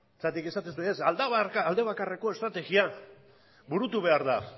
zergatik esaten duzue ez alde bakarreko estrategiak burutu behar da